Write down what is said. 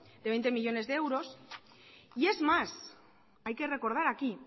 de veinte millónes de euros y es más hay que recordar aquí